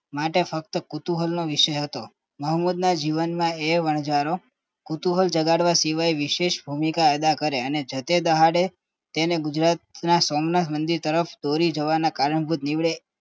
માટે ફક્ત કુતૂહલનો વિષય હતો મોહમ્મદના જીવનમાએ વણજારો કુતૂહલ જગાડવા સિવાય વિશેષ ભૂમિકા અદા કરે અને જતા દાડે તેને ગુજરાતના સોમનાથ મંદિરે તરફ દોરી જવાના દિવડે